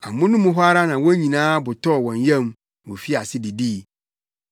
Amono mu hɔ ara wɔn nyinaa bo tɔɔ wɔn yam ma wofii ase didii.